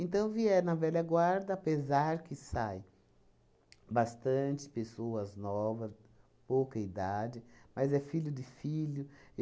Então, vier na velha guarda, apesar que saem bastante pessoas novas, pouca idade, mas é filho de filho.